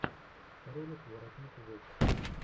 ролик воротник вовс